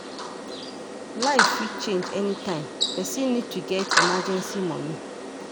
Life fit change anytime, person need to get emergency money